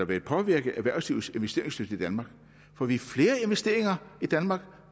vil påvirke erhvervslivets investeringslyst i danmark får vi flere investeringer i danmark